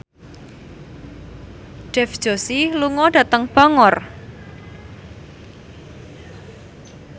Dev Joshi lunga dhateng Bangor